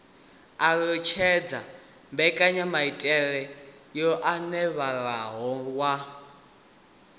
alutshedza mbekanyamaitele yo anavhuwaho ya